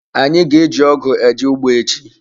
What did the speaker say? Anyi ga-eji ogu eje ugbo echi.